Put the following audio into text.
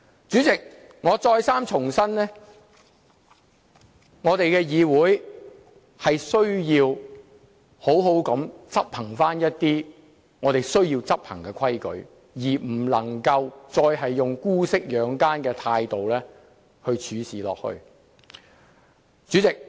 主席，我再三重申，我們的議會需要妥善地執行我們需要執行的規矩，不能夠再以姑息養奸的態度處事。